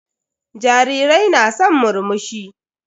Jarirai na san murmushi.